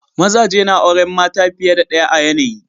Mazaje na auren mata fiye da ɗaya a yanayi.